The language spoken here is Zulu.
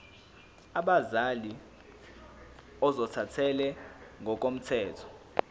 abazali ozothathele ngokomthetho